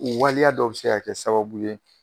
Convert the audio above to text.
U waleya dɔw bi se ka kɛ sababu ye